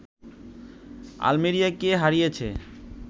আলমেরিয়াকে হারিয়েছে